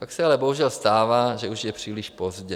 Pak se ale bohužel stává, že už je příliš pozdě.